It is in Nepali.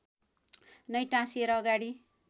नै टाँसिएर अगाडि